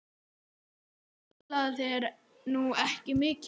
Þú spilaðir nú ekki mikið?